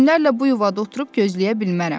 Günlərlə bu yuvada oturub gözləyə bilmərəm.